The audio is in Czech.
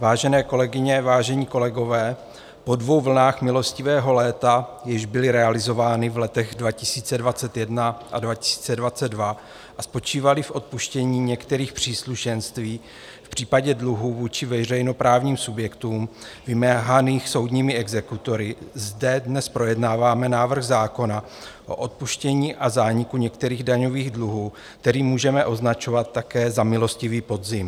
Vážené kolegyně, vážení kolegové, po dvou vlnách milostivého léta, jež byly realizovány v letech 2021 a 2022 a spočívaly v odpuštění některých příslušenství v případě dluhů vůči veřejnoprávním subjektům vymáhaných soudními exekutory, zde dnes projednáváme návrh zákona o odpuštění a zániku některých daňových dluhů, který můžeme označovat také za milostivý podzim.